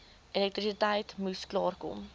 elektrisiteit moes klaarkom